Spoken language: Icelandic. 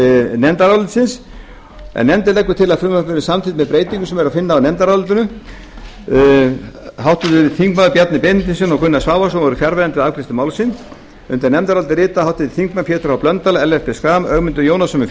nefndarálitsins nefndin leggur til að frumvarpið verði samþykkt með breytingum sem er að finna í nefndarálitinu háttvirtir þingmenn bjarni benediktsson og gunnar svavarsson voru fjarverandi við afgreiðslu málsins undir nefndarálitið rita háttvirtir þingmenn pétur h blöndal ellert b schram ögmundur jónasson með